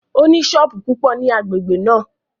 Ó ní sọ́ọ̀bù púpọ̀ ní agbègbè náà